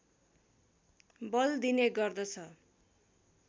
बल दिने गर्दछ